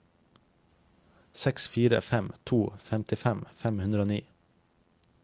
seks fire fem to femtifem fem hundre og ni